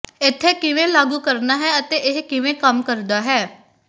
ਇੱਥੇ ਕਿਵੇਂ ਲਾਗੂ ਕਰਨਾ ਹੈ ਅਤੇ ਇਹ ਕਿਵੇਂ ਕੰਮ ਕਰਦਾ ਹੈ